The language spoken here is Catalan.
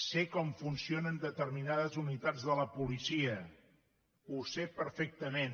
sé com funcionen determinades unitats de la policia ho sé perfectament